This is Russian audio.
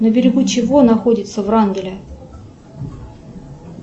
на берегу чего находится врангеля